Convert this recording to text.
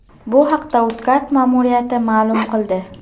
Bu haqda Uzcard ma’muriyati ma’lum qildi .